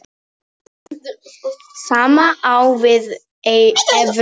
Sama á við um evruna.